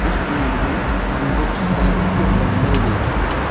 इस इमेज में हम बुक्स का एक बंडल देख सकते हैं।